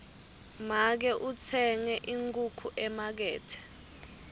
make utsenge inkhukhu emakethe